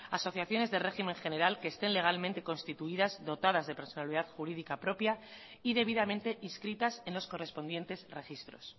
asociaciones de régimen general que estén legalmente constituidas dotadas de personalidad jurídica propia y debidamente inscritas en los correspondientes registros